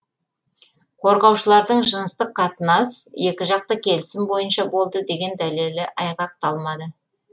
қорғаушылардың жыныстық қатынас екіжақты келісім бойынша болды деген дәлелі айғақталмады